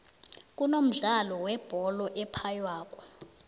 kunomdlolo webhole ephaywako